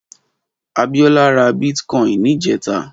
Abiola rà bitkòin nijètá